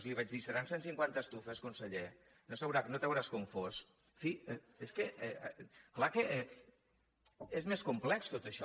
li vaig dir seran cent cinquanta estufes conseller no t’hauràs confós en fi és que és clar que és més complex tot això